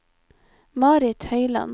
Marit Høiland